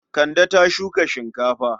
Kande ta shuka shinkafa.